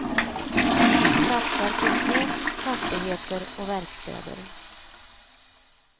Satsar på skog, fastigheter och verkstäder.